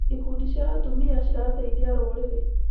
Ikundi cia atumia cirateithia rũrĩrĩ.